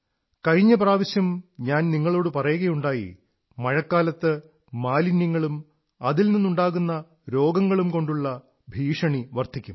കഴിഞ്ഞ പ്രവാശ്യവും ഞാൻ നിങ്ങളോടു പറയുകയുണ്ടായി മഴക്കാലത്ത് മാലിന്യങ്ങളും അതിൽ നിന്നുണ്ടാകുന്ന രോഗങ്ങളും കൊണ്ടുള്ള ഭീഷണി വർധിക്കും